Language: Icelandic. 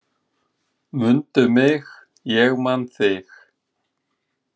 Mundu mig, ég man þig